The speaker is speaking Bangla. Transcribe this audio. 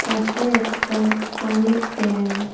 পাশে একটা পানির ট্যাংক ।